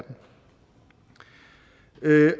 øge